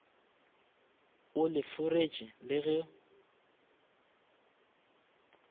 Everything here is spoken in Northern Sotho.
o le foreše le go